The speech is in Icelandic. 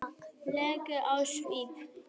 legur á svip.